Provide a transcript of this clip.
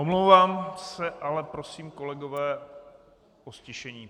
Omlouvám se, ale prosím, kolegové, o ztišení.